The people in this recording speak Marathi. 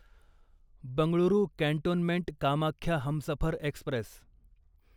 Bengaluru cantonment Kamakhya Humsafar Express